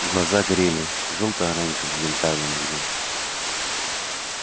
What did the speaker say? глаза горели жёлто-оранжевым янтарным огнём